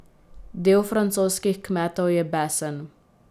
Del francoskih kmetov je besen.